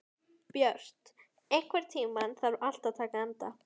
Björt, einhvern tímann þarf allt að taka enda.